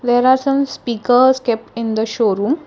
there are some speakers kept in the showroom.